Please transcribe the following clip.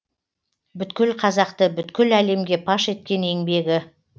бүткіл қазақты бүткіл әлемге паш еткен еңбегі